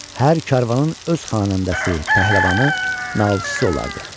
Hər karvanın öz xanəndəsi, pəhləvanı, nalçısı olardı.